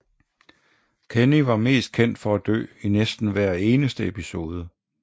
Kenny er mest kendt for at dø i næsten hver eneste episode